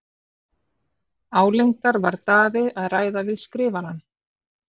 Álengdar var Daði að ræða við Skrifarann.